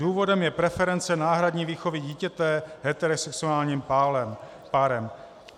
Důvodem je preference náhradní výchovy dítěte heterosexuálním párem.